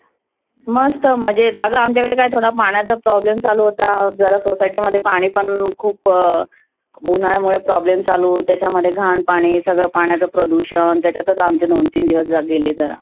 मस्त मजेत. आग आमच्याकडे काय थोडा पाण्याचा problem चालू होता जरा society मध्ये. पाणि पण खुप उन्हाळ्यामुळे problem चालू होत आहे. त्यामध्ये घान पाणि सगळ पाण्याचा प्रदुषण त्यातच आमचे दोन तीन दिवस गेले जरा.